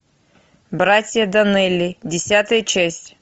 братья донелли десятая часть